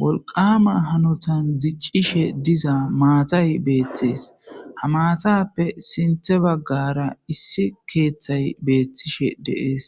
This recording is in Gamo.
wolqama hanotan diccishe diza maatay beettees ha maatappe sinthe baggara issi keeththay beettishe deees